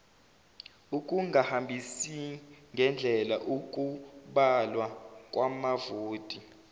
ukungahambisingendlela ukubalwa kwamavoti